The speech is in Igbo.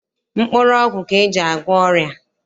Mkpụrụọgwụ ka e ji agwọ ọrịa.